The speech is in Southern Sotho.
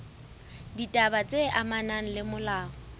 ditaba tse amanang le molao